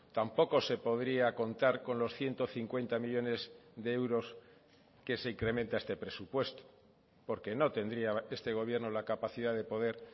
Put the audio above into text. tampoco se podría contar con los ciento cincuenta millónes de euros que se incrementa a este presupuesto porque no tendría este gobierno la capacidad de poder